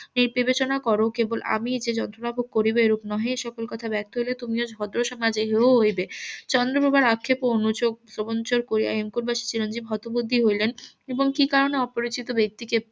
এই বিবেচনা করো যে কেবল আমিই যন্ত্রনা ভোগ করিব এরকম নহে এসকল কথা বার্থ হইলে তুমিও ভদ্র সমাজে রইবে চন্দ্রপ্রভার আক্ষেপ ও অনু . চিরঞ্জিব ভদ্র বুদ্ধি হইলেন এবং কি কারণে অপরিচিত ব্যাক্তিকে